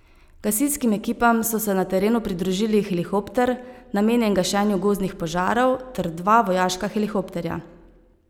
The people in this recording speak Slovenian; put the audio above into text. Gasilskim ekipam so se na terenu pridružili helikopter, namenjen gašenju gozdnih požarov, ter dva vojaška helikopterja.